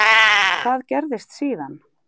Hvað gerðist síðan?